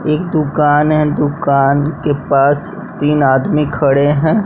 एक दुकान है दुकान के पास तीन आदमी खड़े हैं।